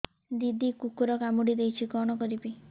ଦିଦି କୁକୁର କାମୁଡି ଦେଇଛି କଣ କରିବି